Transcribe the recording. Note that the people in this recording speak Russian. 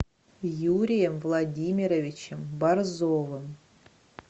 юрием владимировичем борзовым